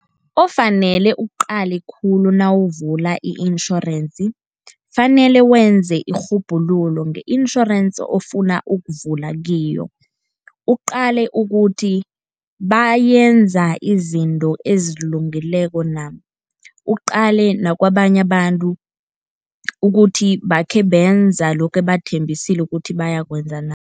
Ofanele ukuqale khulu nawuvula i-insurance kufanele wenze irhubhululo nge-insurance ofuna ukuvula kiyo. Uqale ukuthi benza izinto ezilungileko na, uqale nakabanye abantu ukuthi bakhe benza lokhu ebathembisile ukuthi bayakwenza na.